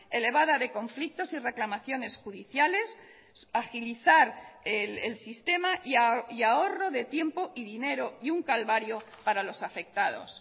elevada de conflictos y reclamaciones judiciales agilizar el sistema y ahorro de tiempo y dinero y un calvario para los afectados